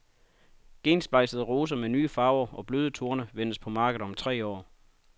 Gensplejsede roser med nye farver og bløde torne ventes på markedet om tre år.